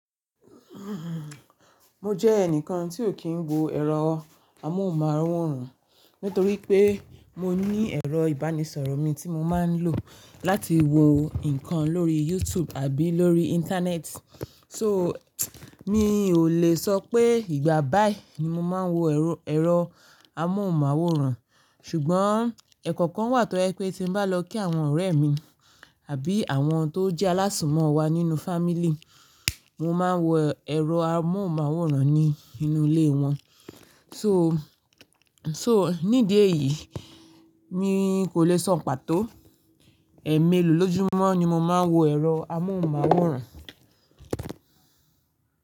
Mo jẹ́ ẹnìkan tí ò kí ń wo ẹ̀rọ amóhùnmáwòrán, nítorí pé mo ní ẹ̀rọ ìbánisọ̀rọ̀ mi tí mo máa ń lò láti wo nǹkan lórí YouTube àbí lórí Íńtánẹ́ẹ̀tì. So, mi ò le sọ pé ìgbà báì ni mo máa ń wo ẹ̀rọ amóhùnmáwòrán, ṣùgbọ́n ẹ̀ekọ̀okan wà tó jẹ pé tí mo bá lọ kí àwọn ọ̀rẹ́ mi àbí àwọn tó jẹ́ alásùnmọ̀ wa nínú fá mílí, mo máa wo ẹ̀rọ amóhùnmáwòrán ní inú ilé wọn. To, nídi èyí mi kò le sọ pàtó. Ẹ̀ mélòó lójúmọ́ ni mo máa ń wo ẹ̀rọ amóhùnmáwòrán?